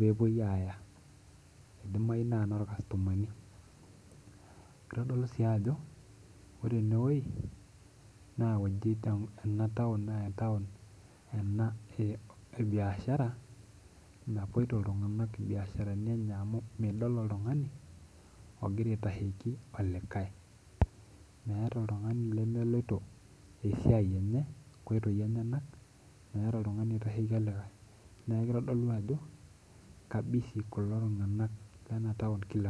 pepuoi aya idimayu nai na normastomani itadolu si ajo ore enewueji na taun ena ebiashara napoito ltunganak biashara amu midol oltungani ogira aitasheki olikae meeta oltungani lemeloto esiai enye nkoitoi enyenakmetaa oltungani oitasheki olikae neaku kitadolu ajo ke busy ltunganak lenataun kila enkolong.